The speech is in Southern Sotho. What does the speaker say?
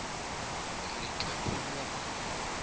ke re o ne o